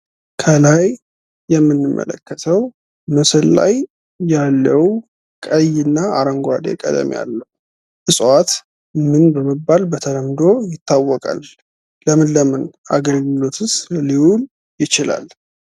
ከላይ የምንመለከተው ምስል ላይ ያለው ቀይና አረንጓዴ ቀለም ያለው እጽዋት ምን በመባል በተለምዶ ይታወቃል። ለምን ለምን አገልግሎትስ ሊውል ይችላል?